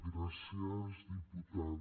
gràcies diputada